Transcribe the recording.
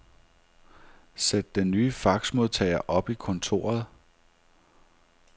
Sæt den nye faxmodtager op i kontoret.